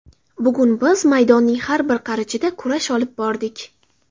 Bugun biz maydonning har bir qarichida kurash olib bordik.